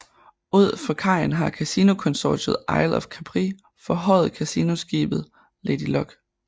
Ud for kajen har kasinokonsortiet Isle of Capri fortøjet kasinoskibet Lady Luck